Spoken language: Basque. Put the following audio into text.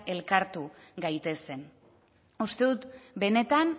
elkartu gaitezen uste dut benetan